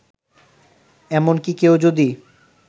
এমনকি কেউ যদি